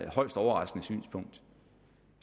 højst overraskende synspunkt